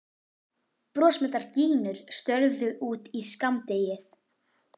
Brosmildar gínur störðu út í skammdegið.